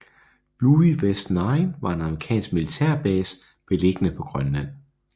Bluie West Nine var en amerikansk militærbase beliggende på Grønland